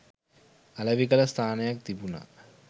අලෙවි කළ ස්ථානයක් තිබුණා.